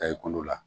Ta e kulo la